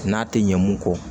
N'a tɛ ɲɛ mun kɔ